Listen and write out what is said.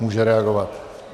Může reagovat.